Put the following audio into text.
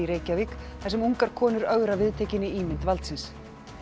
Reykjavík þar sem ungar konur ögra viðtekinni ímynd valdsins